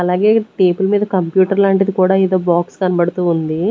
అలాగే టేబల్ మీద కంప్యూటర్ లాంటిది కూడా ఏదో బాక్స్ కనబడుతూ ఉంది.